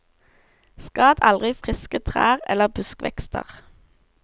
Skad aldri friske trær eller buskvekster.